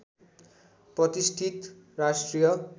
प्रतिष्ठित राष्ट्रिय